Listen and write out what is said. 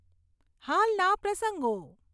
હાલના પ્રસંગો